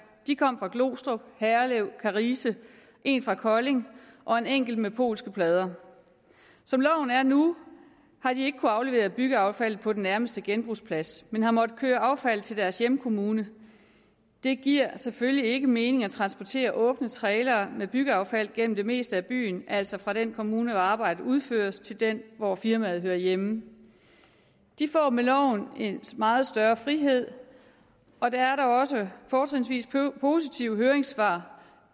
de kom fra glostrup herlev karise en fra kolding og en enkelt med polske plader som loven er nu har de ikke kunnet aflevere byggeaffald på den nærmeste genbrugsplads men har måttet køre affald til deres hjemkommune det giver selvfølgelig ikke mening at transportere åbne trailere med byggeaffald gennem det meste af byen altså fra den kommune hvor arbejdet udføres til den hvor firmaet hører hjemme de får med loven en meget større frihed og det er da også fortrinsvis positive høringssvar